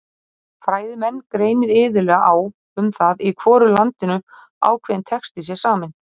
Fræðimenn greinir iðulega á um það í hvoru landinu ákveðinn texti sé saminn.